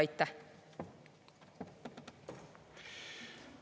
Aitäh!